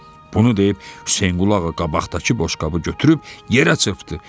Bunu deyib Hüseynqulu Ağa qabaqdakı boşqabı götürüb yerə çırpdı.